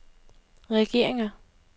regeringer